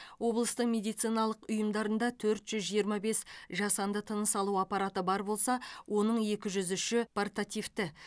облыстың медициналық ұйымдарында төрт жүз жиырма бес жасанды тыныс алу аппараты бар болса оның екі жүз үші портативті